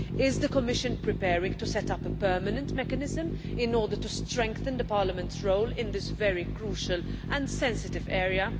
Is the Commission preparing to set up a permanent mechanism in order to strengthen Parliament's role in this very crucial and sensitive area?